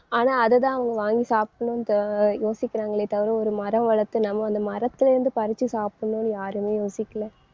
ஆனா அதைத்தான் அவங்க வாங்கி சாப்பிடனுன்ட்டு யோசிக்கிறாங்களே தவிர ஒரு மரம் வளர்த்து நம்ம அந்த மரத்துல இருந்து பறிச்சு சாப்பிடணும்னு யாருமே யோசிக்கல